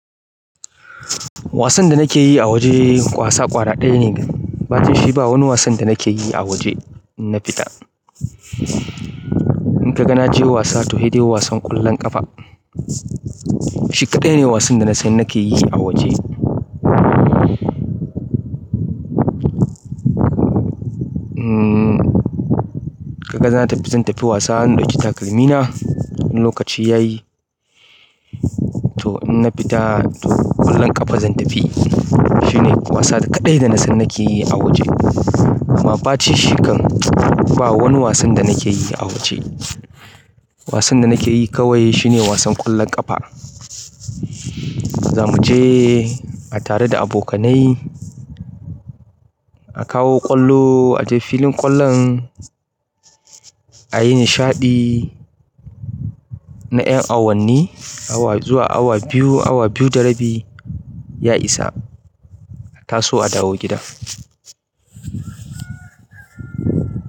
Wasan da nake yi a waje wasa kwara ɗaya ne. Bacin shi ba wani wasan da nake yi a waje in na fita. In ka ga na je wasa to se dai wasan ƙwallon ƙafa. Shi kaɗai ne wasan da na san nake yi a waje. Umm, ka ga zan tafi, zan tafi wasa in ɗauki takalmina. In lokaci ya yi to in na fita to ƙwallon ƙafa zan tafi. Shi ne wasa kaɗai da na san nake yi a waje. Amma bacin shi kan ba wani wasan da nake yi a waje. Wasan da nake yi kawai shi ne wasan ƙwallon ƙafa. Za mu je a tare da abokanai, a kawo ƙwallo, a je filin ƙwallon, a yi nishaɗi na ƴan awanni awa zuwa awa biyu, awa biyu da rabi. Ya isa, a taso a dawo gida.